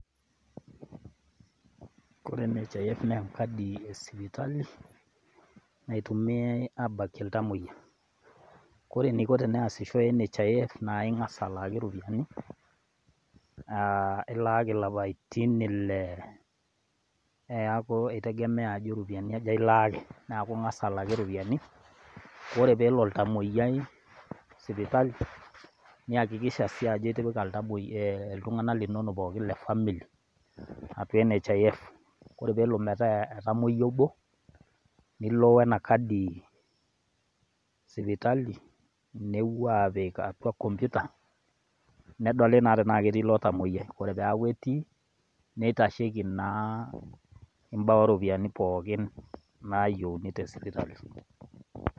Kore NHIF naa enkadi e sipitali naitumiyai aabakie iltamoyia. Ore eneiko teneesisho NHIF naa ingas alaaki ropiyiani aa ilaaki lapaitin ile neeku eitegemea ajo roiyiani aja ilaaki ,neeku ingas alaaki ropiyiani. Ore pee elo oltamoyiai sipitali niyakikisha sii ajo iipika iltungana linono pooki le family atua NHIF. Ore pee elo metaa etamoyia obo, nilo wenakadi sipitali nepuo aapik atua kompuyta nedoli naa tenaa ketii ilo tamoyiai. Ore pee eeku ketii neitasheiki mbaa oo ropiyiani pookin naayieuni te sipitali.